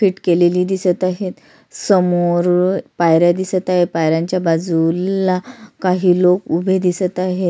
Fit केलेली दिसत आहेत समोर पायऱ्या दिसत आहेत पायऱ्यांच बाजूला काही लोक उभे आहे.